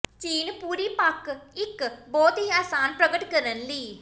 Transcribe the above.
ਚਿੰਨ੍ਹ ਪੂਰੀ ਪੱਕ ਇੱਕ ਬਹੁਤ ਹੀ ਆਸਾਨ ਪ੍ਰਗਟ ਕਰਨ ਲਈ